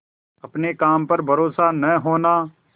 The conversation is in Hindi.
अपने काम पर भरोसा न होना